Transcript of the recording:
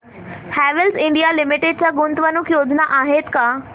Havells India Limited च्या गुंतवणूक योजना आहेत का